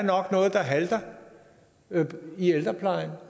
noget der halter i ældreplejen